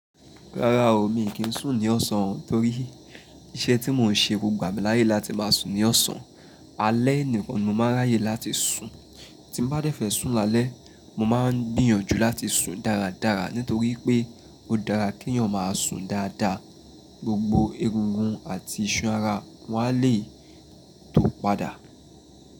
Rárá o, mi kì í sùn ní ọ̀sán torí iṣẹ́ tí mò ń ṣe kò gbà mí láyè láti máa sùn ní ọ̀sán. Alẹ́ nìkan ni mo máa ráyè láti sùn. Tí mo bá dẹ́fẹ̀ sùn lálẹ́, mo máa ń gbìyànjú láti sùn dáradára nítorí pé ó dára kí èèyàn máa sùn dáadáa, gbogbo egungun àti iṣan ara wọn a lè tó padà.